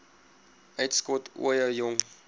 uitskot ooie jong